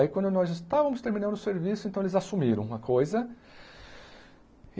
Aí quando nós estávamos terminando o serviço, então eles assumiram a coisa.